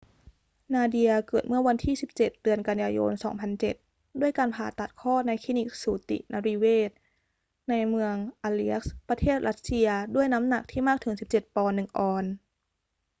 นาเดีย เกิดเมื่อวันที่ 17 เดือนกันยายน 2007 ด้วยการผ่าตัดคลอดในคลินิกสูตินรีเวชในเมือง aleisk ประเทศรัสเซีย ด้วยน้ำหนักที่มากถึง 17 ปอนด์ 1 ออนซ์